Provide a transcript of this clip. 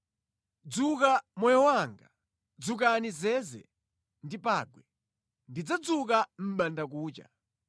Dzuka moyo wanga! Dzukani zeze ndi pangwe! Ndidzadzuka mʼbandakucha.